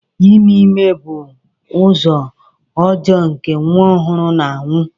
Ime ime bụ ụzọ ọjọọ nke nwa ọhụrụ na-anwụ.